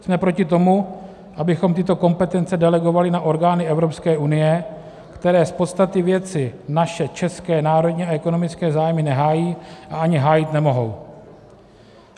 Jsme proti tomu, abychom tyto kompetence delegovali na orgány Evropské unie, které z podstaty věci naše české národní a ekonomické zájmy nehájí a ani hájit nemohou.